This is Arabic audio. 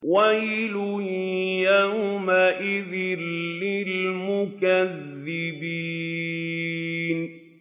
وَيْلٌ يَوْمَئِذٍ لِّلْمُكَذِّبِينَ